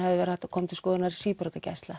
verið hægt að koma til skoðunar